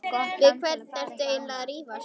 Við hvern ertu eiginlega að rífast?